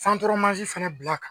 fantɔrɔmansin fana bila